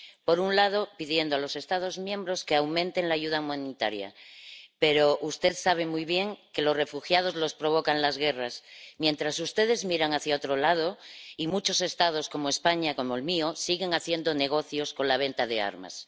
Por un lado, pide a los Estados miembros que aumenten la ayuda humanitaria, pero usted sabe muy bien que los refugiados los provocan las guerras, y, sin embargo, ustedes miran hacia otro lado y muchos Estados, como España —el mío—, siguen haciendo negocios con la venta de armas.